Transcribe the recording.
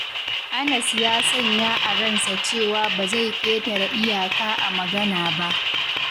Anas ya sanya a ransa cewa ba zai ƙetare iyaka a magana ba.